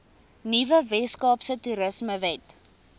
nuwe weskaapse toerismewet